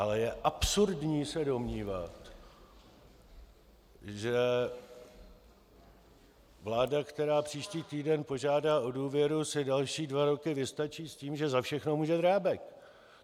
Ale je absurdní se domnívat, že vláda, která příští týden požádá o důvěru, si další dva roky vystačí s tím, že za všechno může Drábek.